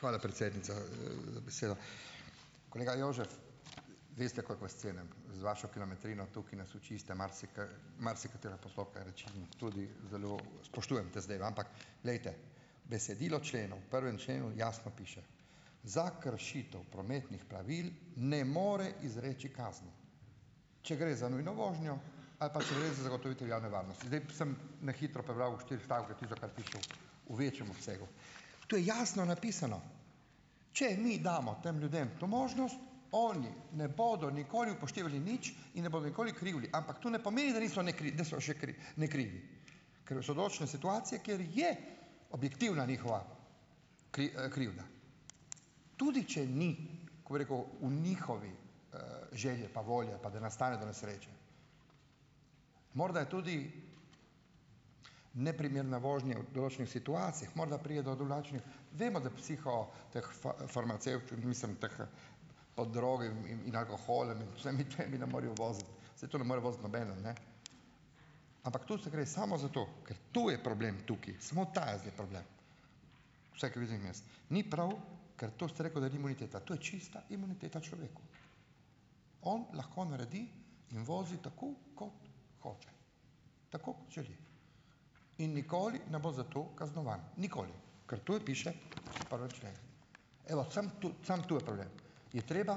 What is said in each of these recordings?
Hvala, predsednica, za besedo. Kolega Jožef, veste, koliko vas cenim, z vašo kilometrino tukaj nas učite marsikaj, marsikatere postopke, reči in tudi zelo spoštujem te zadeve, ampak, glejte - besedilo členov, v prvem členu jasno piše - za kršitev prometnih pravil ne more izreči kazni, če gre za nujno vožnjo ali pa če gre za zagotovitev javne varnosti. Zdaj sem na hitro prebral v štirih stavkih, tisto, kar piše v v večjem obsegu. To je jasno napisano. Če mi damo tem ljudem to možnost, oni ne bodo nikoli upoštevali nič in ne bodo nikoli krivi, ampak to ne pomeni, da niso da so še nekrivi, ker so določene situacije, kjer je objektivna njihova krivda, tudi če ni - kako bi rekel v njihovi, želji ali pa volji ali pa da nastane do nesreče. Morda je tudi neprimerna vožnja v določenih situacijah, morda pride do drugačnih ... Vemo, da psiho, teh farmacevt mislim, teh, pod drogami, in in alkoholom in vsemi temi ne morejo voziti, saj to ne more voziti nobeden, ne, ampak to se gre samo za to, ker to je problem tukaj, samo ta je zdaj problem. Vsaj kar vidim jaz. Ni prav, ker to ste rekel, da ni imuniteta - to je čista imuniteta človeku. On lahko naredi in vozi tako, kot hoče, tako kot želi in nikoli ne bo za to kaznovan, nikoli, ker to piše v prvem členu. Evo, samo to samo to je problem. Je treba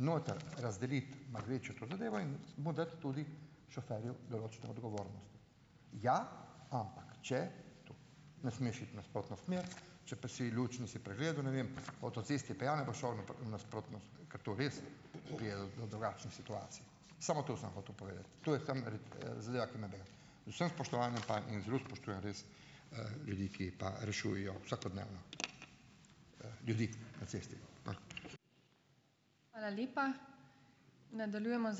noter razdeliti, malo večje to zadevo in mu dati tudi, šoferju, določene odgovornosti. Ja, ampak če, to, ne smeš iti v nasprotno smer, če pa si luč nisi pregledal, ne vem, po avtocesti pijan pa šel v v nasprotno ... ker to res pride do do drugačne situacije. Samo to sem hotel povedati. To je samo, zadeva, ki me bega. Z vsem spoštovanjem pa in zelo spoštujem res, ljudi, ki pa rešujejo vsakodnevno, ljudi na cesti.